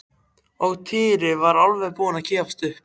Og Týri var alveg búinn að gefast upp.